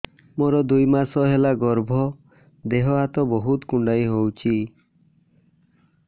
ମୋର ଦୁଇ ମାସ ହେଲା ଗର୍ଭ ଦେହ ହାତ ବହୁତ କୁଣ୍ଡାଇ ହଉଚି